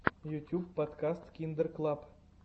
ютьюб подкаст киндер клаб